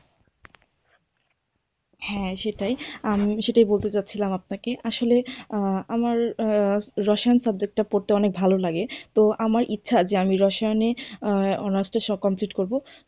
হ্যাঁ সেটাই আমি সেটাই বলতে চাচ্ছিলাম আপনাকে আসলে আমার রসায়ন subject টা পড়তে অনেক ভালো লাগে তো আমার ইচ্ছা যে আমি রসায়নে উম honours টা complete করব।